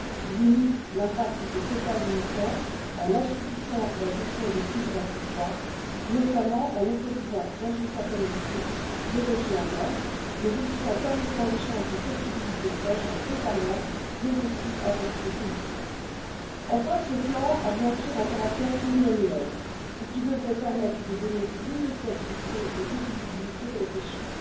Il limite l'impact des quotas limitants en assouplissant la gestion des prises accessoires, notamment en autorisant, dans une certaine mesure, les rejets en mer, mais aussi en permettant l'échange des possibilités de pêche entre États membres, ainsi qu'avec des pays tiers. Enfin, ce plan a bien sûr un caractère pluriannuel, ce qui devrait permettre de donner plus de stabilité et de visibilité aux pêcheurs.